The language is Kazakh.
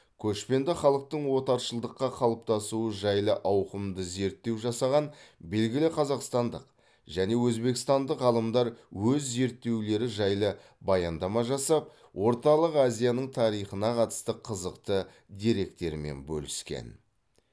көшпенді халықтың отаршылдыққа қалыптасуы жайлы ауқымды зерттеу жасаған белгілі қазақстандық және өзбекстандық ғалымдар өз зерттеулері жайлы баяндама жасап орталық азияның тарихына қатысты қызықты деректермен бөліскен